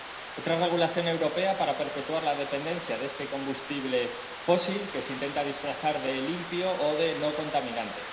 otra regulación europea para perpetuar la dependencia de este combustible fósil que se intenta disfrazar de limpio o de no contaminante.